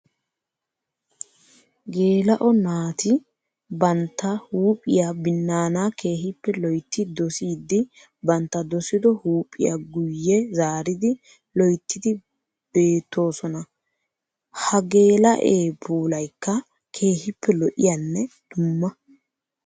Geela'o naati bantta huuphiya binaana keehippe loytti doosiddi bantta doosiddo huuphiya guye zaariddi loyttiddi beetosonna. Ha geela'e puulaykka keehippe lo'iyanne dumma.